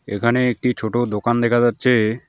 এখানে একটি ছোটো দোকান দেখা যাচ্ছে।